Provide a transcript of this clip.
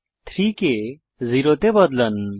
3 কে 0 তে বদলান